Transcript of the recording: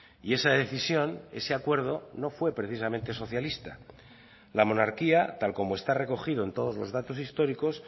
y esa decisión ese acuerdo no fue precisamente socialista la monarquía tal como está recogido en todos los datos históricos